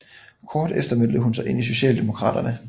Kort efter meldte hun sig ind i Socialdemokraterne